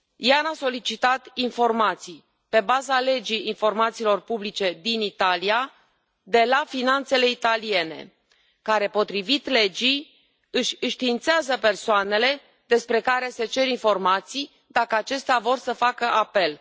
Ján a solicitat informații, pe baza legii informațiilor publice din Italia, de la finanțele italiene, care, potrivit legii, înștiințează persoanele despre care se cer informații, dacă acestea vor să facă apel.